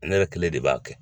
Ne kelen de b'a kɛ.